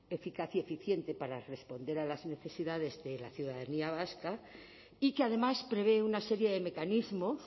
eficaz y eficiente para responder a las necesidades de la ciudadanía vasca y que además prevé una serie de mecanismos